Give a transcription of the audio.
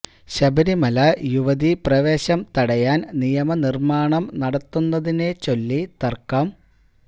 ശബരിമല യുവതി പ്രവേശം തടയാൻ നിയമ നിർമാണം നടത്തുന്നതിനെ ചൊല്ലി തര്ക്കം